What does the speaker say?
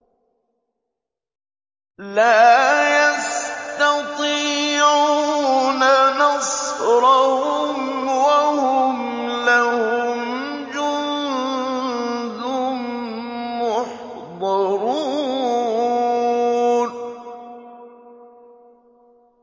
لَا يَسْتَطِيعُونَ نَصْرَهُمْ وَهُمْ لَهُمْ جُندٌ مُّحْضَرُونَ